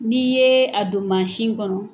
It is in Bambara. N'i ye a don mansin kɔnɔ.